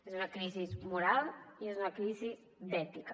és una crisi moral i és una crisi d’ètica